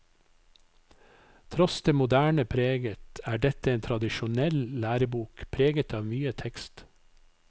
Tross det moderne preget er dette en tradisjonell lærebok preget av mye tekst.